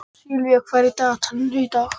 Sylvía, hvað er í dagatalinu í dag?